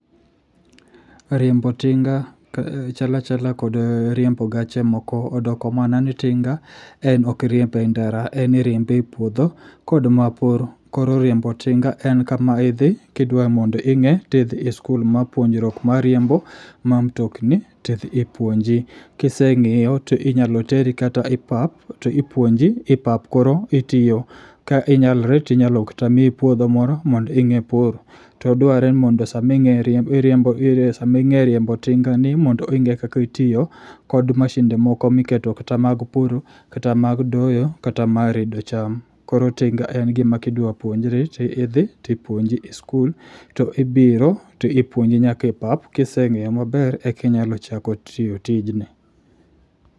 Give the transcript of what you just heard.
Riembo tinga chalachala kod riembo gache moko odokomanani tinga en okriembe e ndara en iriembe e puodho kodmapur koro riembo tinga en kama idhi kidwamond ing'e tidhi e skul mar puonjruok mar riembo ma mtokni tidhi ipuonji. kiseng'eyo toinyaloteri kata e pap toipuonji e pap koro itiyo ka inyalre tinyalokatamii puodho moro mond ing'ee pur. Todware mond saming'e riembo tingani mond ing'e kaka itiyo kod mashinde moko miketo kata moko mag pur kata mag doyo kata mar redo cham koro tinga en gima kidwa puonjri tiidhi tipuonji e skul toibiro tipuonji nyaka e pap. Kiseng'eyo maber ekinyalo chako timo tijni.